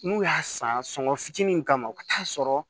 N'u y'a san sɔngɔ fitinin kama u ka taa'a sɔrɔ